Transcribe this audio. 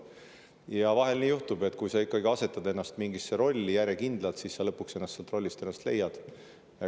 Vahel juhtub nii, et kui sa asetad ennast järjekindlalt mingisse rolli, siis sa lõpuks ennast sealt rollist leiadki.